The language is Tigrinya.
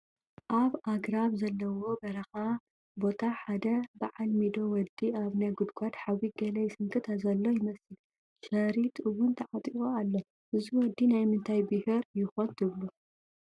ኣብ ኣግራብ ዘለዎ በረኻ ቦታ ሓደ በዓል ሚዶ ወዲ ኣብ ናይ ጉድጓድ ሓዊ ገለ ይስንክት ዘሎ ይመስል፡፡ ሸሪጥ ውን ተዓጢቑ ኣሎ፡፡ እዚ ወዲ ናይ ምንታይ ቢሄር ይኾን ትብሉ?